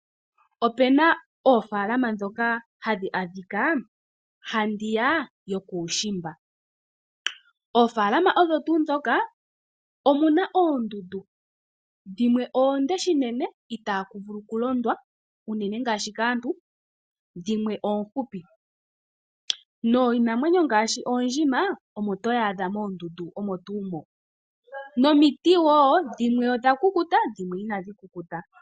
Opena oofalama ndhoka hadhi adhika handiya yokuushimba, oofalama odho tuu ndhoka omuna oondundu dhimwe oonde shinene itaakuvulu okulondwa unene ngashi kaantu, dhimwe oofupi, niinamwenyo ngaashi oondjima omo to dhadha moondundu, nomiti dhimwe odha kukuta nadhimwe inadhi kukuta.